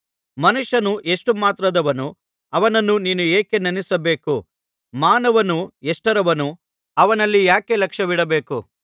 ಮನುಷ್ಯನು ಎಷ್ಟು ಮಾತ್ರದವನು ಅವನನ್ನು ನೀನು ಯಾಕೆ ನೆನಪಿಸಿಕೊಳ್ಳಬೇಕು ಮಾನವನು ಎಷ್ಟರವನು ಅವನಲ್ಲಿ ಯಾಕೆ ಲಕ್ಷ್ಯವಿಡಬೇಕು